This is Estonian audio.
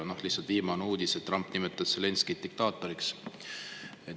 Lihtsalt viimane uudis: Trump nimetas Zelenskõid diktaatoriks.